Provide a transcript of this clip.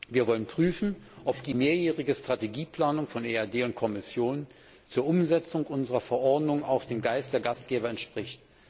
Wir wollen prüfen, ob die mehrjährige Strategieplanung von EAD und Kommission zur Umsetzung unserer Verordnung auch dem Geist der Gesetzgeber entspricht.